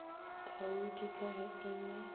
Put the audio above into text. taudi ka ge e le